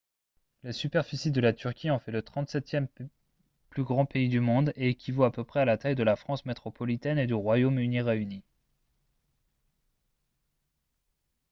la superficie de la turquie en fait le 37e plus grand pays du monde et équivaut à peu près à la taille de la france métropolitaine et du royaume-uni réunis